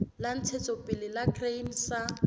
la ntshetsopele la grain sa